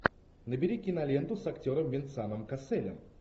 набери киноленту с актером венсаном касселем